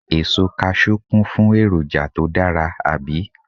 Èso Kaṣú kún fún èròjà tó dára, àbí?